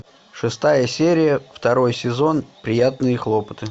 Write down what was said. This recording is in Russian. шестая серия второй сезон приятные хлопоты